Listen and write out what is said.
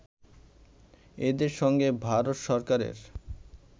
এদের সঙ্গে ভারত সরকারের